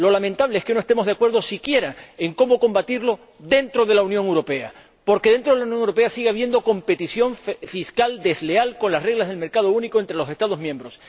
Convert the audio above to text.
Lo lamentable es que no estemos de acuerdo, si quiera, en cómo combatirlo dentro de la Unión Europea, porque dentro de la Unión Europea sigue habiendo competencia fiscal desleal con las reglas del mercado único entre los Estados miembros.